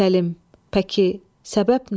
Səlim, pəki, səbəb nə?